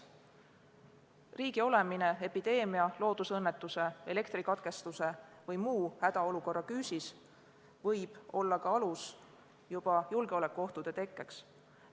Riigi olemine epideemia, loodusõnnetuse, elektrikatkestuse või muu hädaolukorra küüsis võib olla ka alus julgeolekuohtude tekkimiseks.